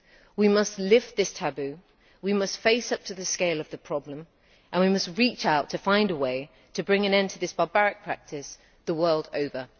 We must lift this taboo, we must face up to the scale of the problem and we must reach out to find a way to bring an end to this barbaric practice the world over.